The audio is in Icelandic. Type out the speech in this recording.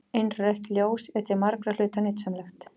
Innrautt ljós er til margra hluta nytsamlegt.